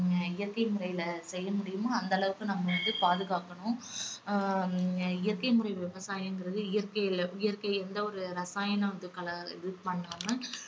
இயற்கை முறையில செய்ய முடியுமோ அந்த அளவுக்கு நம்ம வந்து பாதுகாக்கணும். ஹம் இயற்கை முறை விவசாயங்குறது இயற்கையில இயற்கை எந்த ஒரு ரசாயனமும் இது கல~ இது பண்ணாம